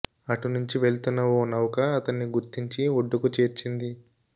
అటు నుంచి వెళ్తున్న ఓ నౌక అతన్ని గుర్తించి ఒడ్డుకు చేర్చింది